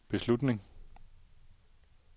beslutning